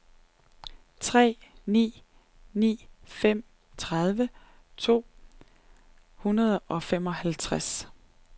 tre ni ni fem tredive to hundrede og femoghalvtreds